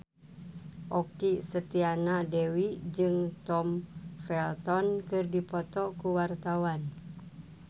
Okky Setiana Dewi jeung Tom Felton keur dipoto ku wartawan